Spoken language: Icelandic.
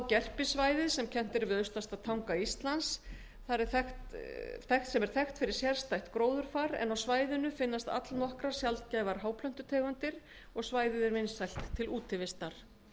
gerpissvæðið sem kennt er við austasta tanga íslands er þekkt fyrir sérstætt gróðurfar en á svæðinu finnast allnokkrar sjaldgæfar háplöntutegundir svæðið er vinsælt til útivistar